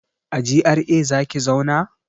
A GRA zaki zauna?